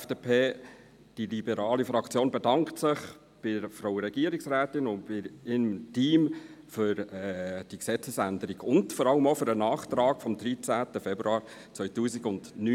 Die liberale Fraktion bedankt sich bei der Regierungsrätin und bei ihrem Team für die Gesetzesänderung und vor allem auch für den Nachtrag vom 13. Februar 2019.